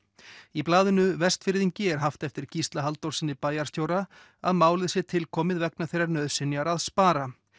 í blaðinu Vestfirðingi er haft eftir Gísla Halldórssyni bæjarstjóra að málið sé tilkomið vegna þeirrar nauðsynjar að spara